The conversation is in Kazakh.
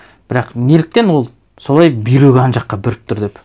бірақ неліктен ол солай бүйрегі ана жаққа бұрып тұр деп